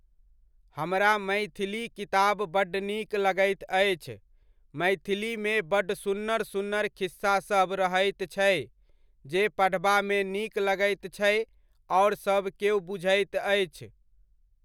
हमरा मैथिली किताब बड्ड नीक लगैत अछि, मैथिलीमे बड्ड सुन्नर सुन्नर खिस्सासभ रहैत छै जे पढबामे नीक लगैत छै आओर सबकेओ बुझैत अछि।